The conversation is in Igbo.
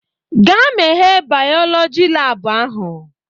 "Gaa meghee bayọlọji laabụ ahụ!